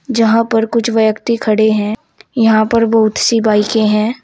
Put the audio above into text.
जहां पर कुछ व्यक्ति खड़े है यहां पर बहुत सी बाईकें है।